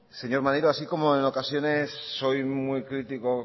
señor maneiro así como en ocasiones soy muy critico